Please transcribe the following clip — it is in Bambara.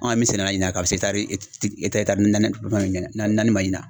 An kɔni min sɛnɛ a la ɲina ka bɛ se etaari naani naani ma ɲina.